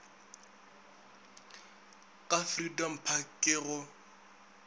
ka freedom park ke go